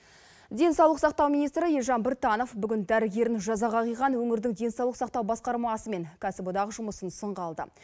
денсаулық сақтау министрі елжан біртанов бүгін дәрігерін жазаға қиған өңірдің денсаулық сақтау басқармасы мен кәсіподақ жұмысын сынға алды